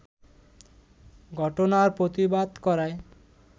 ঘটনার প্রতিবাদ করায়